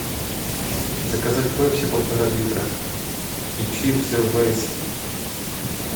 заказать пепси полтора литра и чипсы лейс